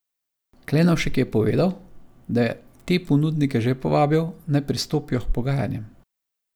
Klenovšek je povedal, da je te ponudnike že povabil, naj pristopijo k pogajanjem.